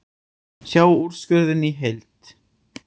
Sjá úrskurðinn í heild